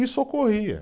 Isso ocorria.